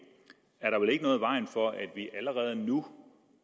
er der vel ikke noget i vejen for at vi allerede nu